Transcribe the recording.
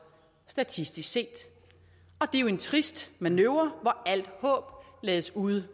statistisk set og det er jo en trist manøvre hvor alt håb lades ude